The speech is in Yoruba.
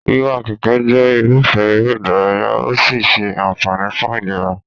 Wíwa kẹ̀kẹ́ jẹ́ irúfẹ́ eré-ìdárayá¸ ó sì ń ṣe àǹfààní fún ìlera.